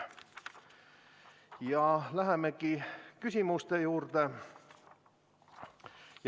Ja lähemegi küsimuste juurde.